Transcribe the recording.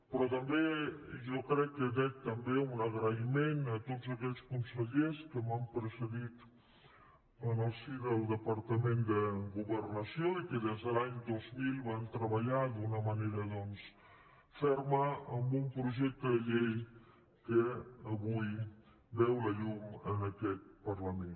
però també jo crec que dec també un agraïment a tots aquells consellers que m’han precedit en el si del departament de governació i que des de l’any dos mil van treballar d’una manera doncs ferma en un projecte de llei que avui veu la llum en aquest parlament